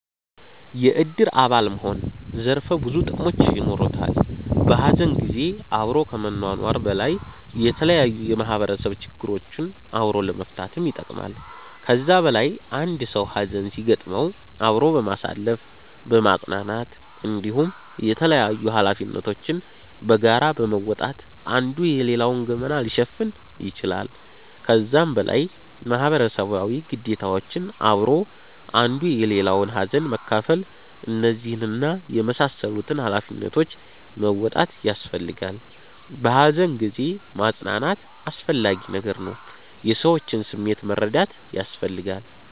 የእድር አባል መሆን ዘርፈ ብዙ ጥቅሞች የኖሩታል። በሀዘን ጊዜ አብሮ ከመኗኗር በላይ የተለያዩ የማህበረሰብ ችግሮችን አብሮ ለመፈታትም ይጠቅማል። ከዛ በላይ አንድ ሰዉ ሀዘን ሲያጋጥመዉ አብሮ በማሳለፍ በማፅናናት እንዲሁም የተላያዩ ሀላፊነቶችን በጋራ በመወጣት አንዱ የሌላዉን ገመና ሊሸፍን ይችላል። ከዛም በላይ ማህበረሰባዊ ግዴታዎች አብሮ አንዱ የሌላዉን ሀዘን መካፍል እነዚህን እና የመሳሰሉትን ሃላፊነቶች መወጣት ያሰፈልጋላ። በሃዘን ጊዜ ማፅናናት አስፈላጊ ነገር ነዉ። የሰዎችንም ስሜት መረዳት ያስፈልጋል